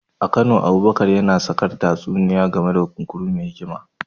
A Kano, Abubakar yana sakar tatsuniyoyi game da kunkuru mai hikima.